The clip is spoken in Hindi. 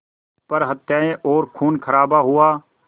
पर हत्याएं और ख़ूनख़राबा हुआ